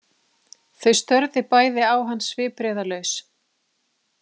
Þau störðu bæði á hann svipbrigðalaus.